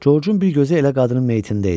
Coçun bir gözü elə qadının meyitində idi.